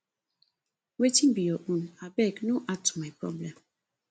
wetin be your own abeg no add to my problem